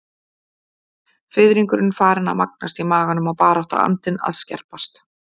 Fiðringurinn farinn að magnast í maganum og baráttuandinn að að skerpast.